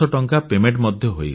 ମୋତେ ଦେୟ ମଧ୍ୟ ମିଳିଗଲା